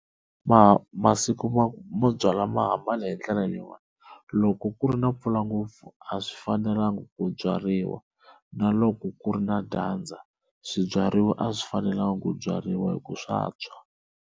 masiku mo byala ma hi ndlela leyiwani loko ku ri na mpfula ngopfu a swi fanelanga ku byariwa na loko ku ri na dyandza swibyariwa a swi fanelanga ku byariwa hi ku swa tshwa.